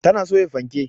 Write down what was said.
Ta na soya fanke